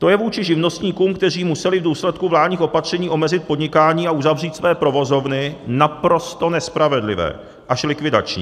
To je vůči živnostníkům, kteří museli v důsledku vládních opatření omezit podnikání a uzavřít své provozovny, naprosto nespravedlivé až likvidační.